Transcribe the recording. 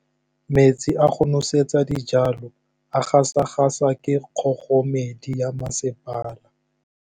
Metsi a go nosetsa dijalo a gasa gasa ke kgogomedi ya masepala.